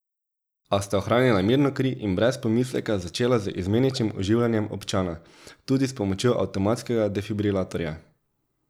A sta ohranila mirno kri in brez pomisleka začela z izmeničnim oživljanjem občana, tudi s pomočjo avtomatskega defibrilatorja.